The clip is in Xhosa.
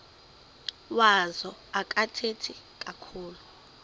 wazo akathethi kakhulu